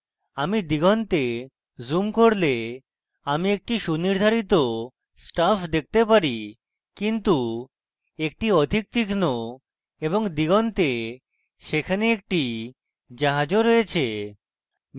আমি দিগন্তে zoom করলে আমি একটি সুনির্ধারিত stuff দেখতে পারি কিন্তু একটি অধিক তীক্ষ্ন এবং দিগন্তে সেখানে একটি জাহাজ ও রয়েছে